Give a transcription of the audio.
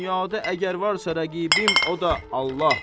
Dünyada əgər varsa rəqibim o da Allah.